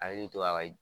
Hakili to a ka